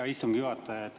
Hea istungi juhataja!